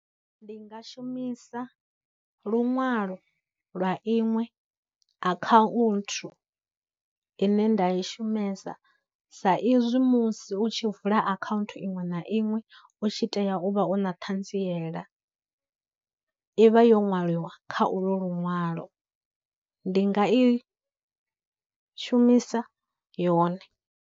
Ndi nga shumisa lunwalo lwa iṅwe akhaunthu ine nda i shumesa sa izwi musi u tshi vula akhaunthu iṅwe na iṅwe u tshi tea u vha u na ṱhanziela, ivha yo nwaliwa kha ulwo luṅwalo, ndi nga i shumisa yone.